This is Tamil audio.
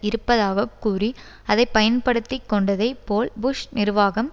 இருப்பதாக கூறி அதை பயன்படுத்தி கொண்டதை போல் புஷ் நிர்வாகம்